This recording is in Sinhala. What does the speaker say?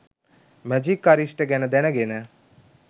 “මැජික් අරිෂ්ටෙ” ගැන දැනගෙන